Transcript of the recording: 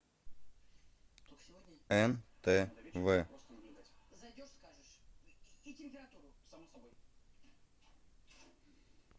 нтв